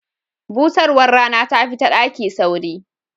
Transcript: Busarwar Rana tafi ta daki sauri.